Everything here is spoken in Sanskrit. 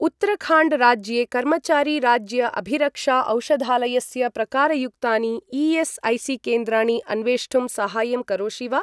उत्तराखण्ड् राज्ये कर्मचारी राज्य अभिरक्षा औषधालयस्य प्रकारयुक्तानि ई.एस्.ऐ.सी.केन्द्राणि अन्वेष्टुं साहाय्यं करोषि वा?